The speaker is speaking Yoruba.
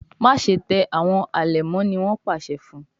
Máṣe tẹ àwọn alẹmọ! ní wón pàṣẹ fún.